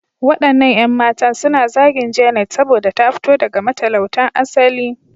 Waɗannan 'yan matan suna zagin Janet saboda ta fito daga matalautan asali.